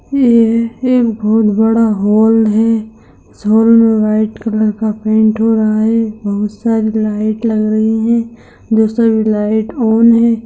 ये एक बहुत बड़ा हॉल है इस हॉल में व्हाइट कलर का पेन्ट हो रहा है बहुत सारे लाइट लग रही है जो सभी लाइट ऑन है।